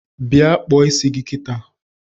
Bịa kpụọ isia kịta!